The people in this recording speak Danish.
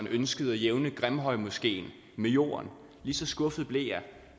ønskede at jævne grimhøjmoskeen med jorden lige så skuffet blev jeg